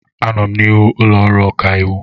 Anọ m n'ihu ụlọ ọrụ ọkaiwu.